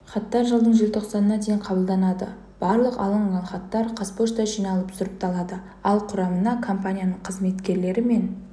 хаттар жылдың желтоқсанына дейін қабылданады барлық алынған хаттар қазпошта жиналып сұрыпталады ал құрамына компанияның қызметкерлері мен